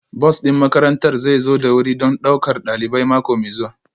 Bus ɗin makarantar zai zo da wuri don ɗaukar ɗalibai mako mai zuwa